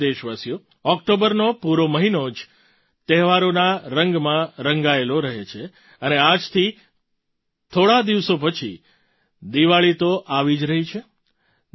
મારા પ્રિય દેશવાસીઓ ઑક્ટોબરનો પૂરો મહિનો જ તહેવારોના રંગમાં રંગાયેલો રહે છે અને આજથી થોડા દિવસો પછી દિવાળી તો આવી જ રહી છે